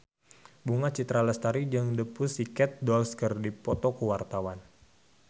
Bunga Citra Lestari jeung The Pussycat Dolls keur dipoto ku wartawan